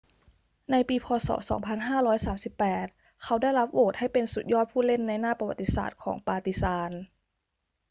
ในปี พ. ศ. 2538 เขาได้รับโหวตให้เป็นสุดยอดผู้เล่นในหน้าประวัติศาสตร์ของปาร์ติซาน